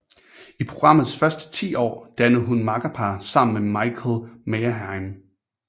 I programmets første 10 år dannede hun makkerpar sammen med Michael Meyerheim